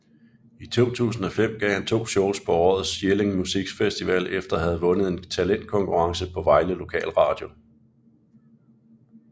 I 2005 gav han to shows på årets Jelling Musikfestival efter at have vundet en talentkonkurrence på Vejle Lokal Radio